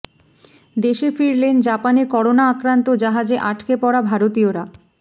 দেশে ফিরলেন জাপানে করোনা আক্রান্ত জাহাজে আটকে পড়া ভারতীয়রা